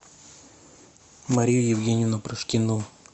марию евгеньевну прошкину